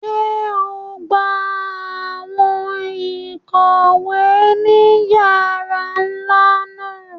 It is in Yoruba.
Ṣe o ngbà awọn ikọwe ni yàrà nlá náà?